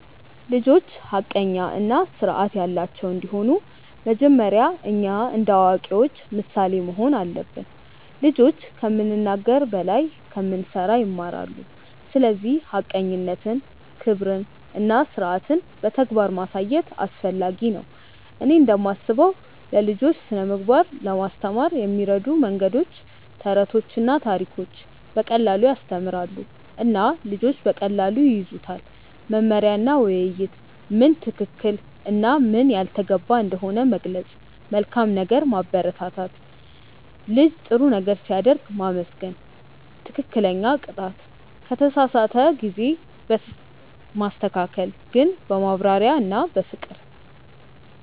ልጆች ሐቀኛ እና ስርዓት ያላቸው እንዲሆኑ መጀመሪያ እኛ እንደ አዋቂዎች ምሳሌ መሆን አለብን። ልጆች ከምንናገር በላይ ከምንሠራ ይማራሉ፤ ስለዚህ ሐቀኝነትን፣ ክብርን እና ስርዓትን በተግባር ማሳየት አስፈላጊ ነው። እኔ እንደምስበው ለልጆች ስነ ምግባር ለማስተማር የሚረዱ መንገዶች፦ ተረቶችና ታሪኮች –> በቀላሉ ያስተምራሉ እና ልጆች በቀላሉ ይያዙታል። መመሪያ እና ውይይት –> ምን ትክክል እና ምን ያልተገባ እንደሆነ መግለጽ። መልካም ነገር ማበረታት –> ልጅ ጥሩ ነገር ሲያደርግ ማመስገን። ትክክለኛ ቅጣት –> ከተሳሳተ ጊዜ ማስተካከል ግን በማብራሪያ እና በፍቅር።